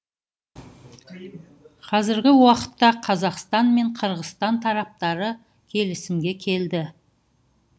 қазіргі уақытта қазақстан мен қырғызстан тараптары келісімге келді